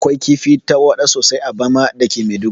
Akwai kifi tarwaɗa sosai a bama dake maiduguri